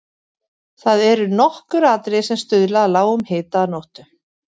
Það eru nokkur atriði sem stuðla að lágum hita að nóttu.